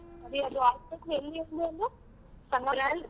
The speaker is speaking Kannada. ಅದೇ ಅದು hospital ಎಲ್ಲಿ ಅಂದೇ .